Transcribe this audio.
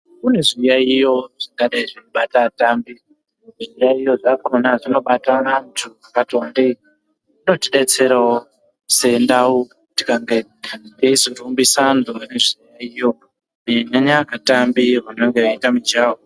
Kune zviyaiyo zvakadai zveibata vatambi zviyaiyo zvakona zvinobata vantu vakati wandei zvinodetserawo sendaraunda kana tikange teizorumbisa antu ane zviyaiyo kunyanya vatambi vanenge veita mujaho.